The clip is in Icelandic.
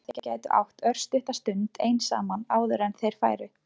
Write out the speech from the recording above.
Bara að þau gætu átt örstutta stund ein saman áður en þeir færu.